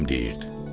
Həkim deyirdi.